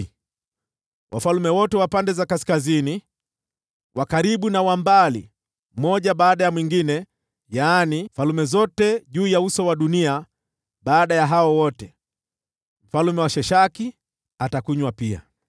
na wafalme wote wa pande za kaskazini, wa karibu na wa mbali, mmoja baada ya mwingine; yaani falme zote juu ya uso wa dunia. Baada ya hao wote, mfalme wa Sheshaki atakunywa pia.